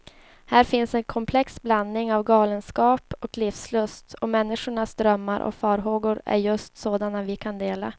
Här finns en komplex blandning av galenskap och livslust, och människornas drömmar och farhågor är just sådana vi kan dela.